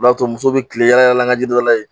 O b'a to muso bɛ kilen yala an ka jiri dɔ la